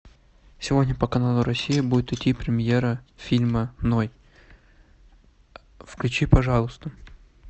сегодня по каналу россия будет идти премьера фильма ной включи пожалуйста